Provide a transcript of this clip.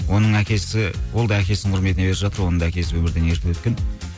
оның әкесі ол да әкесінің құрметіне беріп жатыр оның да әкесі өмірден ерте өткен